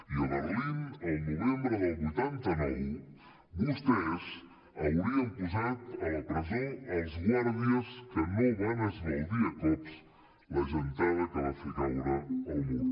i a berlín el novembre del vuitanta nou vostès haurien posat a la presó els guàrdies que no van esbaldir a cops la gentada que va fer caure el mur